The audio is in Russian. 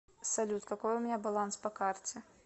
салют какой у меня баланс по карте